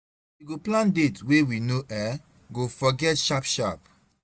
We go plan date wey we no um go forget sharp sharp